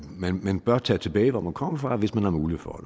man bør tage tilbage hvor man kommer fra hvis man har mulighed for